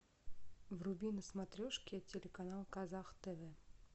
вруби на смотрешке телеканал казах тв